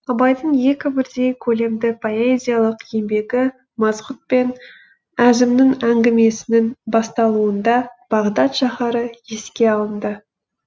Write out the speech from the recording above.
абайдың екі бірдей көлемді поэзиялық еңбегі масғұт пен әзімнің әңгімесінің басталуында бағдат шаһары еске алынды